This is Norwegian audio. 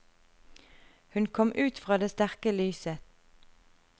Hun kom ut fra det sterke lyset.